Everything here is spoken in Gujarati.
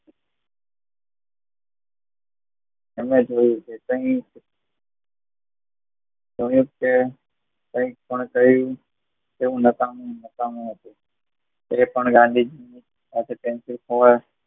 એમને જોયું કે કહી તેવું નકામું નકામું એ પણ ગાંધીજી